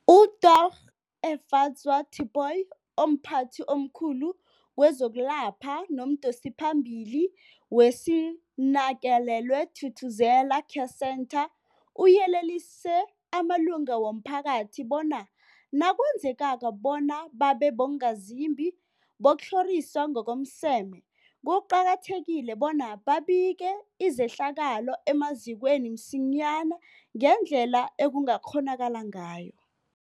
UDorh Efadzwa Tipoy, omphathi omkhulu kezokwelapha nomdosiphambili weSinakekelwe Thuthuzela Care Centre, uyelelise amalunga womphakathi bona nakwenzekako bona babe bongazimbi bokutlhoriswa ngokomseme, kuqakathekile bona babike izehlakalo emazikweni msinyana ngendlela ekungakghonakala ngayo.